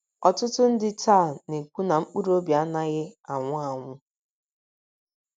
Ọtụtụ ndị taa na - ekwu na mkpụrụ obi anaghị anwụ anwụ.